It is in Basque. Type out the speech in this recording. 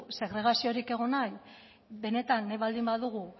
segregaziorik egon bahi benetan nahi baldin badugu